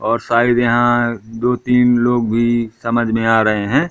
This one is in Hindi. और शायद यहां दो तीन लोग भी समझ में आ रहे हैं।